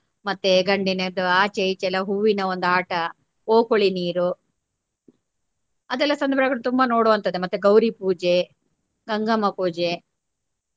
ಮತ್ತೆ ಗಂಡಿನದ್ದು ಆಚೆ ಈಚೆ ಎಲ್ಲಾ ಹೂವಿನ ಒಂದು ಆಟ ಓಕುಳಿ ನೀರು ಅದೆಲ್ಲಾ ತುಂಬಾ ನೋಡುವಂತದ್ದೆ ಮತ್ತೆ ಗೌರಿ ಪೂಜೆ ಗಂಗಮ್ಮ ಪೂಜೆ.